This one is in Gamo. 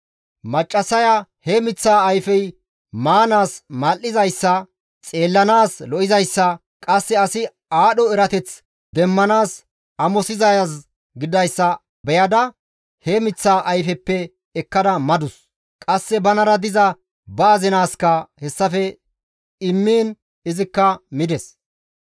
Maccassaya he miththaa ayfey maanaas mal7izayssa, xeellanaas lo7izayssa, qasse asi aadho erateth demmanaas amosizaaz gididayssa beyada he miththaa ayfeppe ekkada madus; qasse banara diza ba azinaaska hessafe immiin izikka mides.